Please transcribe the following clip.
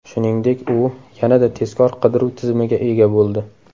Shuningdek, u yanada tezkor qidiruv tizimiga ega bo‘ldi.